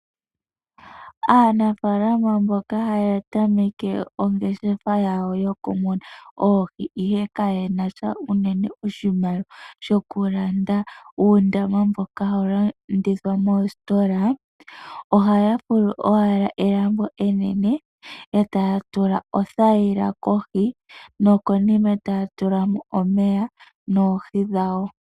Aanafaalama mboka hya tameka ongeshefa yawo yoku muna oohi ihe kayenasha oshimaliwa shokulanda uundama mboka hawu landithwa moositola, ohaa fulu owala elambo enene, etaya tula othayila kohi, nokonima taya tulamo omeya, noohi dhawo.